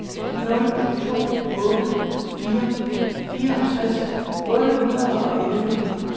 nul to otte fire fireogtres otte hundrede og elleve